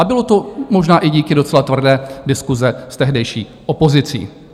A bylo to možná i díky docela tvrdé diskusi s tehdejší opozicí.